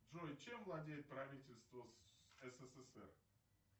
джой чем владеет правительство ссср